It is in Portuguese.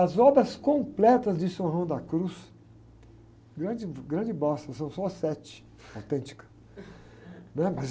As obras completas de São João da Cruz, grande, grande, são só sete, autênticas. Né? Mas...